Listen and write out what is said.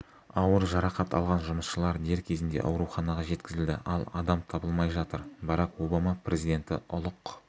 ауыр жарақат алған жұмысшылар дер кезінде ауруханаға жеткізілді ал адам табылмай жатыр барак обама президенті ұлық